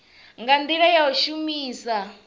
nga ndila ya u shumisa